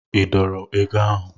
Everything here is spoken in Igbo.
I dọọrọ ego ahụ?